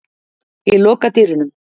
Ég loka dyrunum.